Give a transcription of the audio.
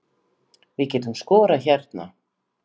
Við getum skorað hérna